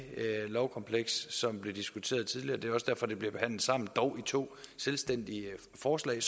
lovkompleks som blev diskuteret tidligere det er også derfor at det bliver behandlet sammen dog i to selvstændige forslag